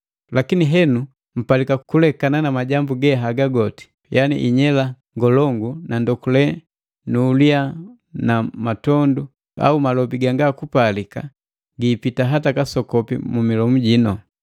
Lakini henu mpalika kulekana na majambu ge haga goti. Yani inyela ngolongu na ndokule nu uliya na matondu au malobi ganga kupalika giipita hata kasokopi mu milomu jinu.